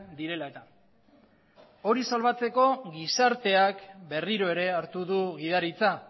direla eta hori salbatzeko gizarteak berriro ere hartu du gidaritza